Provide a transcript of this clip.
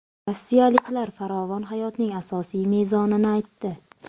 Rossiyaliklar farovon hayotning asosiy mezonini aytdi.